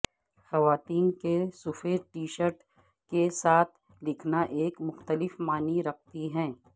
خواتین کے سفید ٹی شرٹ کے ساتھ لکھنا ایک مختلف معنی رکھتی ہے